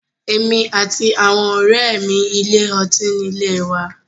Èmi àti àwọn ọ̀rẹ́ mi ilé ọtí nílé wa..